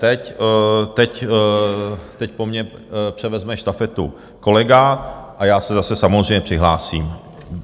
Teď po mně převezme štafetu kolega a já se zase samozřejmě přihlásím.